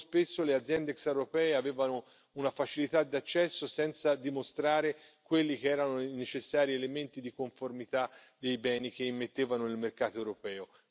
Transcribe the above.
Troppo spesso le aziende extraeuropee avevano una facilità d'accesso senza dimostrare quelli che erano i necessari elementi di conformità dei beni che immettevano nel mercato europeo.